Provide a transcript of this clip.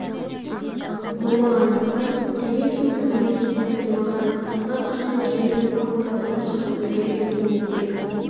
болмағандықтан кеме су түбіне кете қоймаған асыға қашқан кеменің палубасына шығып үлгірген болуы керек